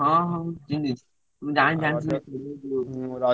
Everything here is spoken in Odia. ହଁ ହଁ ଚିହ୍ନିଛି।